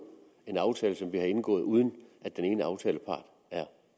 en aftale som vi har indgået uden at den ene aftalepart er